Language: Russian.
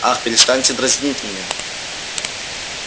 ах перестаньте дразнить меня